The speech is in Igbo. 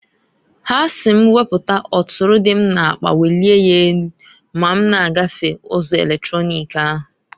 Ha si m weputa ọtụrụ dị m n'akpa welie ya enu ma m na-gafe ụzọ eletronik ahu.